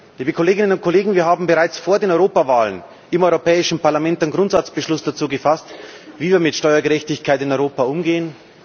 Liebe Kolleginnen und Kollegen, wir haben bereits vor der Europawahl im Europäischen Parlament einen Grundsatzbeschluss dazu gefasst, wie wir mit Steuergerechtigkeit in Europa umgehen.